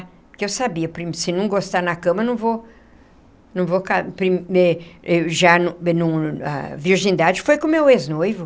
Porque eu sabia, se não gostar na cama, não vou não vou ca... A virgindade foi com o meu ex-noivo.